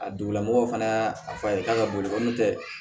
A dugulamɔgɔw fana y'a fɔ a ye k'a ka boli ko n'o tɛ